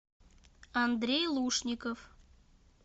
андрей лушников